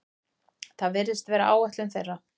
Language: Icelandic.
Það virðist vera áætlun þeirra